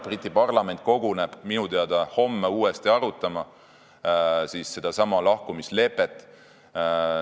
Briti parlament koguneb minu teada homme uuesti sedasama lahkumislepet arutama.